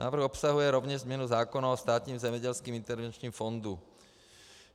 Návrh obsahuje rovněž změnu zákona o Státním zemědělském intervenčním fondu.